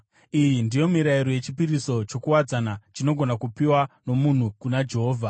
“ ‘Iyi ndiyo mirayiro yechipiriso chokuwadzana, chinogona kupiwa nomunhu kuna Jehovha.